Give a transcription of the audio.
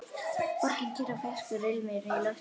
Borgin kyrr og ferskur ilmur í lofti.